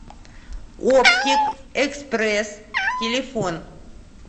оптик экспресс телефон